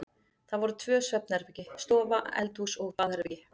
Það voru tvö svefnherbergi, stofa, eldhús og baðherbergi.